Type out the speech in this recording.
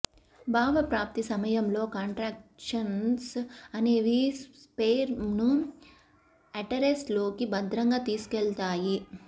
భావప్రాప్తి సమయంలో కాంట్రక్షన్స్ అనేవి స్పెర్మ్ ను యుటెరస్ లోకి భద్రంగా తీసుకెళ్తాయి